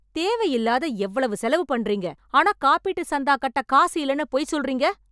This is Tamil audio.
தேவையில்லாத எவ்வளவு செலவு பண்றீங்க. ஆனா காப்பீட்டு சந்தா கட்ட காசு இல்லனு பொய் சொல்றீங்க.